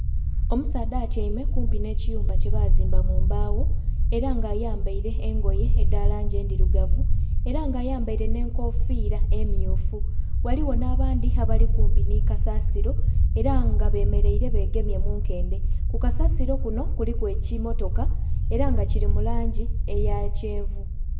Omusaadha atyaime kumpi n'ekiyumba kyebazimba mumbagho era nga ayambaire engoye edha langi endhirugavu era nga ayambaire n'enkofira emmyufu ghaligho n'abandhi abali kumpi ni kasasiro era nga bemeraire begemye munkende, kukasasiro kuno kuliku ekimmotoka era nga kiri mulangi eya kyenvu.